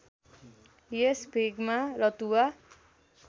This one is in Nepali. यस भेगमा रतुवा